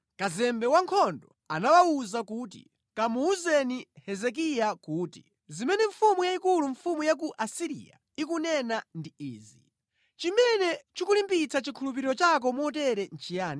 Kazembe wa ankhondo anawawuza kuti, “Kamuwuzeni Hezekiya kuti, “Mfumu yayikulu, mfumu ya ku Asiriya ikunena kuti, Kodi chikukulimbitsa mtima ndi chiyani?